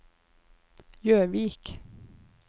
Gjøvik